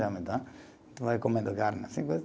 Tu vai comendo a carne.